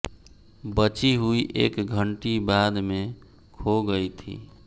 बची हुई एक घंटी बाद में खो गई थी